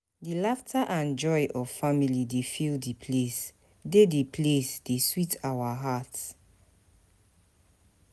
Di laughter and joy of family dey fill di place, dey di place, dey sweet our heart.